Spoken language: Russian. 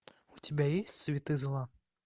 у тебя есть цветы зла